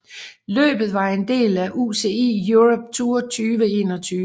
Løbet var en del af UCI Europe Tour 2021